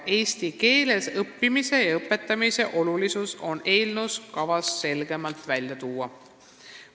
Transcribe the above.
Eesti keeles õppimise ja õpetamise olulisus on kavas eelnõus selgemalt välja tuua.